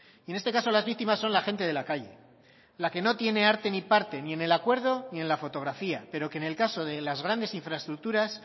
y en este caso las víctimas son la gente de la calle la que no tiene arte ni parte ni en el acuerdo ni en la fotografía pero que en el caso de las grandes infraestructuras